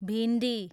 भिन्डी